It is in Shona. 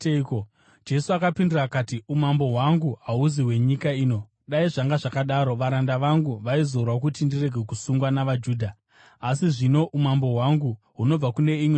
Jesu akapindura akati, “Umambo hwangu hahusi hwenyika ino. Dai zvanga zvakadaro, varanda vangu vaizorwa kuti ndirege kusungwa navaJudha. Asi zvino umambo hwangu hunobva kune imwe nzvimbo.”